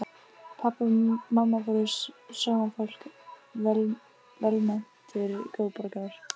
Pabbi og mamma voru sómafólk, velmetnir góðborgarar.